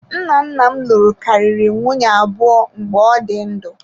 Nna nna m lụrụ karịrị nwunye abụọ mgbe ọ dị ndụ